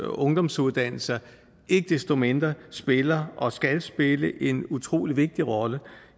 ungdomsuddannelser ikke desto mindre spiller og skal spille en utrolig vigtig rolle